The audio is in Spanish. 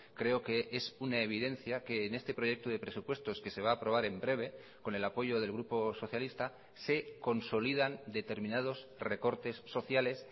creo que es una evidencia que en este proyecto de presupuestos que se va a aprobar en breve con el apoyo del grupo socialista se consolidan determinados recortes sociales